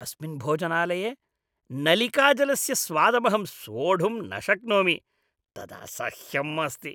अस्मिन् भोजनालये नलिकाजलस्य स्वादमहं सोढुं न शक्नोमि, तदसह्यम् अस्ति।